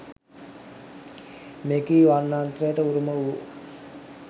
මෙකී වර්ණත්‍රයට උරුම වූ